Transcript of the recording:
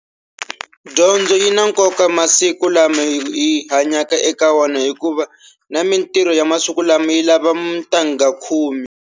Dyondzo yina nkoka masiku lama hi hanyaka eka wona hikuva na mintirho ya masiku lama yilava ntangha khume.